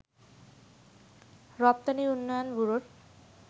রপ্তানি উন্নয়ন ব্যুরোর